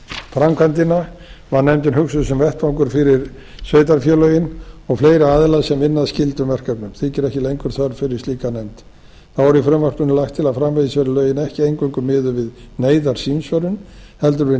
framkvæmdina og var nefndin hugsuð sem vettvangur fyrir sveitarfélögin og fleiri aðila sem vinna að skyldum verkefnum þykir ekki lengur þörf fyrir slíka nefnd þá er í frumvarpinu lagt til að framvegis verði lögin ekki eingöngu miðuð við neyðarsímsvörun heldur við